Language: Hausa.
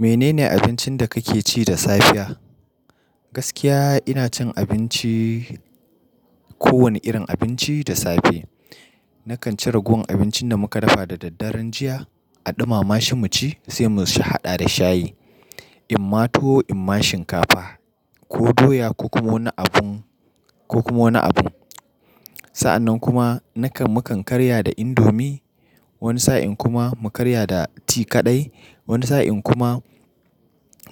Menene abincin da kake ci da safiya? Gaskiya ina cin abinci, kowane irin abinci da safe. Nakan ci ragowan abincin da muka dafa da daddaren jiya a ɗumama shi mu ci sai mu haɗa da shayi. In ma tuwo in ma shinkafa ko doya ko kuma wani abu, ko kuma wani abu. Sa'annan kuma nakan, mukan karya da indomi. Wani sa'in kuma mu karya da tea kaɗai. Wani sa'in kuma